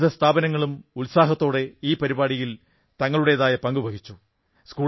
വിവിധ സ്ഥാപനങ്ങളും ഉത്സാഹത്തോടെ ഈ പരിപാടിയിൽ തങ്ങളുടേതായ പങ്കു വഹിച്ചു